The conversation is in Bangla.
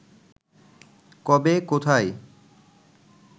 কবে, কোথায়